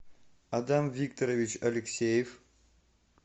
адам викторович алексеев